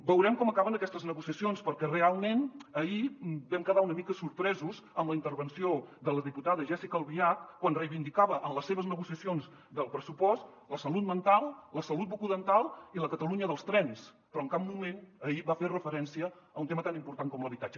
veurem com acaben aquestes negociacions perquè realment ahir vam quedar una mica sorpresos amb la intervenció de la diputada jéssica albiach quan reivindicava en les seves negociacions del pressupost la salut mental la salut bucodental i la catalunya dels trens però en cap moment ahir va fer referència a un tema tan important com l’habitatge